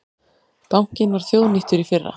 Bankinn var þjóðnýttur í fyrra